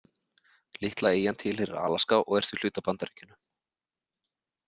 Litla eyjan tilheyrir Alaska og er því hluti af Bandaríkjunum.